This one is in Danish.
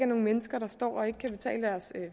nogle mennesker der står og ikke